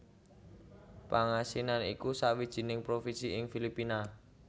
Pangasinan iku sawijining provinsi ing Filipina